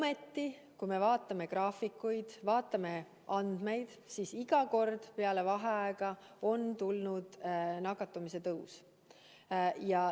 Ent kui me vaatame graafikuid, vaatame muid andmeid, siis iga kord peale vaheaega on tulnud nakatumise tõus.